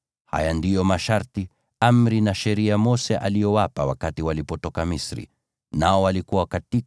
Haya ndiyo masharti, amri na sheria Mose aliyowapa wana wa Israeli wakati walitoka Misri,